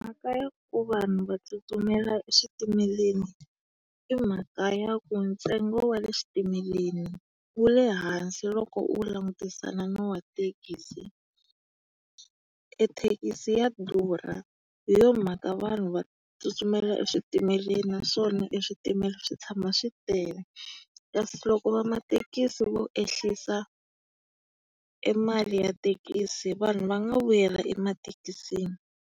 Mhaka ya ku vanhu va tsutsumela eswitimeleni i mhaka ya ku ntsengo wa le switimeleni wu le hansi loko u wu langutisana na wa thekisi. E thekisi ya durha, hi yona mhaka vanhu va tsutsumela eswitimeleni naswona e switimela swi tshama swi tele. Kasi loko va mathekisi vo ehlisa e mali ya thekisi, vanhu va nga vuyela emathekisini.